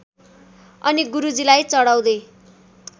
अनि गुरुजीलाई चढाउँदै